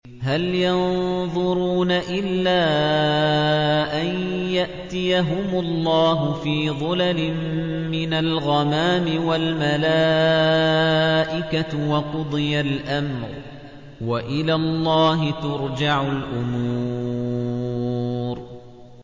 هَلْ يَنظُرُونَ إِلَّا أَن يَأْتِيَهُمُ اللَّهُ فِي ظُلَلٍ مِّنَ الْغَمَامِ وَالْمَلَائِكَةُ وَقُضِيَ الْأَمْرُ ۚ وَإِلَى اللَّهِ تُرْجَعُ الْأُمُورُ